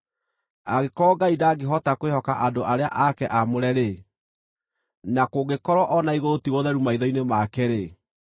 Angĩkorwo Ngai ndangĩhota kwĩhoka andũ arĩa ake aamũre-rĩ, na kũngĩkorwo o na igũrũ ti gũtheru maitho-inĩ make-rĩ,